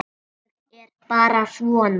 Ég er bara svona.